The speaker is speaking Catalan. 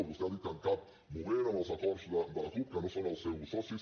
vostè ha dit que en cap moment en els acords de la cup que no són els seus socis